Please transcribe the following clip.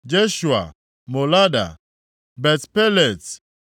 Jeshua, Molada, Bet-Pelet,